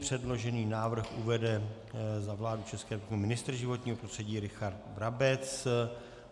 Předložený návrh uvede za vládu České republiky ministr životního prostředí Richard Brabec.